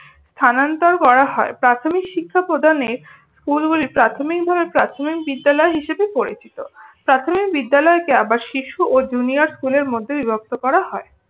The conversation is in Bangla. স্থানান্তর করা হয়। প্রাথমিক শিক্ষা প্রদানে স্কুলগুলি প্রাথমিক ভাবে প্রাথমিক বিদ্যালয় হিসাবে পরিচিত। প্রাথমিক বিদ্যালয়কে আবার শিশু ও junior school এর মধ্যে বিভক্ত করা হয়।